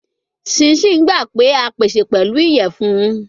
Chin chin gba pe a pese pẹlu iyẹfun